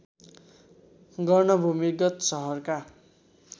गर्न भूमिगत सहरका